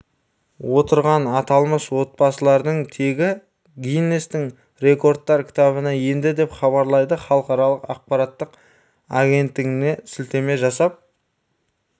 отырған аталмыш отбасылардың тегі гиннестің рекордтар кітабына енді деп хабарлайды халықаралық ақпараттық агенттігіне сілтеме жасап